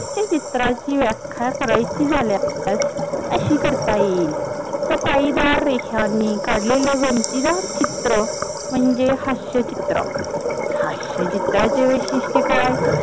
चित्राची व्याख्या करायची झाल्यास अशी करता येईल सफाईदार रेषांनी काडलेल गमतीदार चित्र म्हणजे चित्र, हास्य चित्राचे वैशिष्ट्य काय